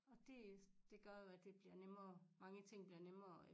Og det det gør jo at det bliver nemmere mange ting bliver nemmere jo